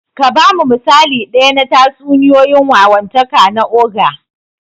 Ka ba mu misali ɗaya na tatsuniyoyin wawantaka na ogre.